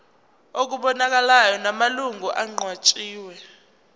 okubonakalayo namalungu aqanjiwe